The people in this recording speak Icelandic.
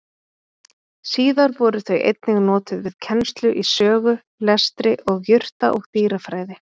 Síðar voru þau einnig notuð við kennslu í sögu, lestri, og jurta- og dýrafræði.